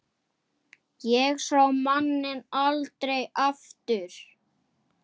Ég sá manninn aldrei aftur.